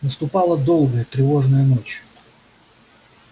наступала долгая тревожная ночь